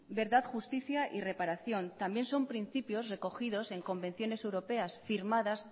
verdad justicia y reparación también son principios recogidos en convenciones europeas firmadas